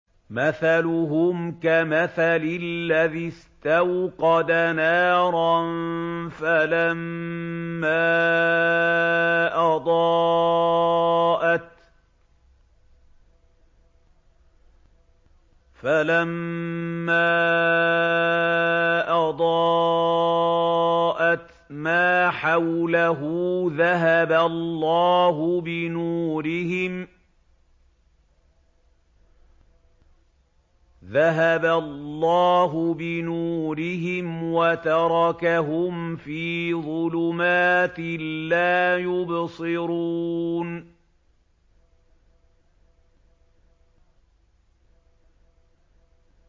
مَثَلُهُمْ كَمَثَلِ الَّذِي اسْتَوْقَدَ نَارًا فَلَمَّا أَضَاءَتْ مَا حَوْلَهُ ذَهَبَ اللَّهُ بِنُورِهِمْ وَتَرَكَهُمْ فِي ظُلُمَاتٍ لَّا يُبْصِرُونَ